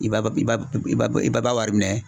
I b'a i b'a i b'a i b'a wari .